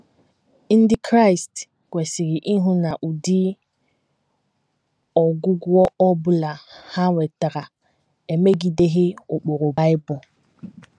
Ndị Kraịst kwesịrị ịhụ na ụdị ọgwụgwọ ọ bụla ha nwetara emegideghị ụkpụrụ Bible.